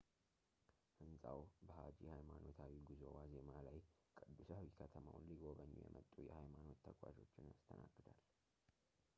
ሕንጻው በሃጂ ሃይማኖታዊ ጉዞ ዋዜማ ላይ ቅዱሳዊ ከተማውን ሊጎበኙ የመጡ የሃይማኖት ተጓዦችን ያስተናግዳል